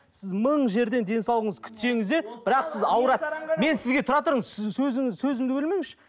сіз мың жерден денсаулығыңызды күтсеңіз де бірақ сіз аурасыз мен сізге тұра тұрыңыз сіз сөзімді бөлмеңізші